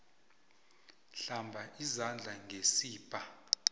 hlamba izandla ngesibha